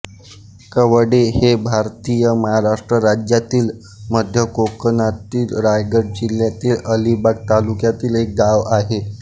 कवडे हे भारतातील महाराष्ट्र राज्यातील मध्य कोकणातील रायगड जिल्ह्यातील अलिबाग तालुक्यातील एक गाव आहे